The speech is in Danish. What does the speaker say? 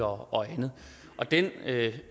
og andet og den